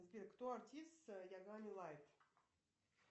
сбер кто артист ягами лайт